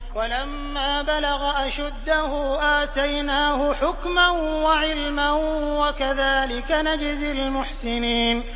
وَلَمَّا بَلَغَ أَشُدَّهُ آتَيْنَاهُ حُكْمًا وَعِلْمًا ۚ وَكَذَٰلِكَ نَجْزِي الْمُحْسِنِينَ